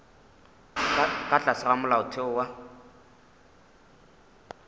ka tlase ga molaotheo wa